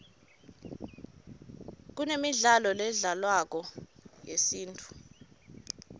kunemidlalo ledlalwako yesintfu